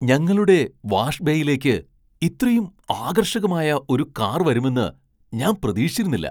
ഞങ്ങളുടെ വാഷ് ബേയിലേക്ക് ഇത്രയും ആകർഷകമായ ഒരു കാർ വരുമെന്ന് ഞാൻ പ്രതീക്ഷിച്ചിരുന്നില്ല.